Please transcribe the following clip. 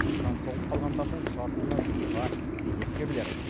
сан соғып қалғандардың жартысына жуығы зейнеткерлер